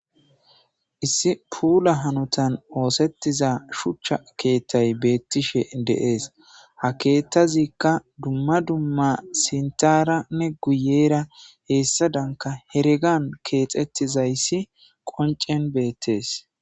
Issi puula hanothan ooseththiza shuchcha keeththay beeththishe de7ees; ha keeththazikka dumma dumma sinthaaranne guyyeera heessadankka heregan keexeththizayssi qonccen beeththees.